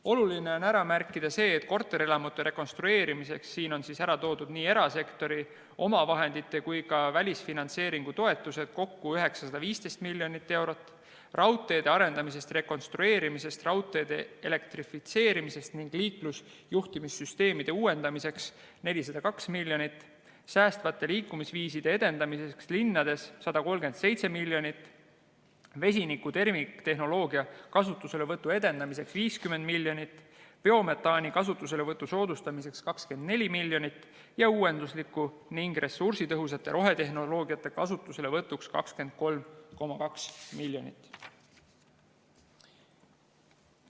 Oluline on ära märkida see, et korterelamute rekonstrueerimiseks, siin on ära toodud nii erasektori omavahendite kui ka välisfinantseeringu toetused, on kokku 915 miljonit eurot, raudteede arendamiseks, rekonstrueerimiseks, raudtee elektrifitseerimiseks ning liiklusjuhtimissüsteemide uuendamiseks 402 miljonit, säästvate liikumisviiside edendamiseks linnades 137 miljonit, vesiniku terviktehnoloogia kasutuselevõtu edendamiseks 50 miljonit, biometaani kasutuselevõtu soodustamiseks 24 miljonit ja uuenduslike ning ressursitõhusate rohetehnoloogiate kasutuselevõtuks 23,2 miljonit.